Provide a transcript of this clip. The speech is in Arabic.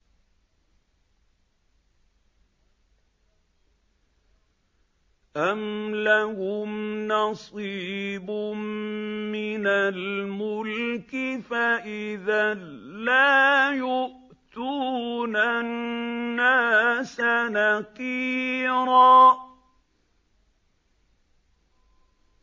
أَمْ لَهُمْ نَصِيبٌ مِّنَ الْمُلْكِ فَإِذًا لَّا يُؤْتُونَ النَّاسَ نَقِيرًا